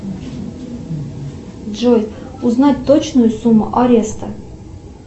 джой узнать точную сумму ареста